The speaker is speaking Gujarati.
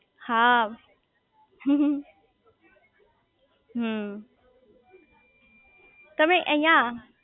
હા હમમમ હમ્મ તમે અહીંયા